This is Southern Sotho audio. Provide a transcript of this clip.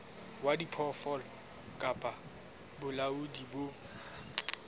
wa diphoofolo kapa bolaodi bo